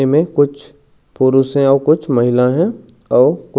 एमे कुछ पुरष हे आऊ कुछ महिला हे आऊ कु--